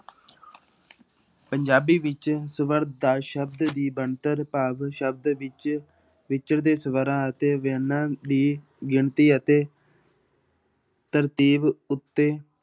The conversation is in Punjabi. ਪੰਜਾਬੀ ਵਿੱਚ ਸਵਰ ਦਾ ਸ਼ਬਦ ਦੀ ਬਣਤਰ ਭਾਵ ਸ਼ਬਦ ਵਿੱਚ ਵਿਚਰਦੇ ਸਵਰਾਂ ਅਤੇ ਵਿਅੰਜਨਾਂ ਦੀ ਗਿਣਤੀ ਅਤੇ ਤਰਤੀਬ ਉੱਤੇ